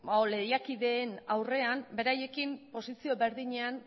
edo lehiakideen aurrean beraiekin posizio berdinean